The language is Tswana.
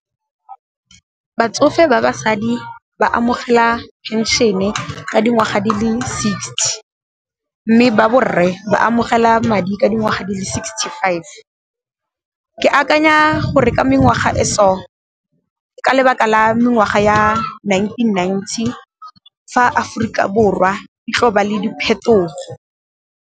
Batsofe ba basadi ba amogela phenšene ka dingwaga di le sixty, mme ba borre ba amogela madi ka dingwaga di le sixty five. Ke akanya gore ke mengwaga e so, ka lebaka la mengwaga ya nineteen ninety fa Aforika Borwa e tlo ba le diphetogo.